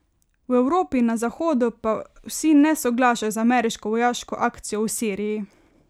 V Evropi in na Zahodu pa vsi ne soglašajo z ameriško vojaško akcijo v Siriji.